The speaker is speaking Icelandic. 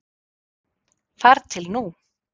Þar til nú.